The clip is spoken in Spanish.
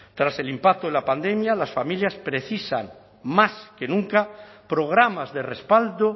tras el impacto de la pandemia las familias precisan más que nunca programas de respaldo